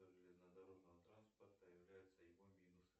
железнодорожного транспорта являются его минусы